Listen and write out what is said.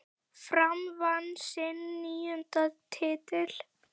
Fram vann sinn níunda titil.